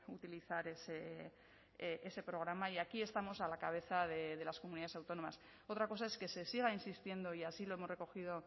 utilizar ese programa y aquí estamos a la cabeza de las comunidades autónomas otra cosa es que se siga insistiendo y así lo hemos recogido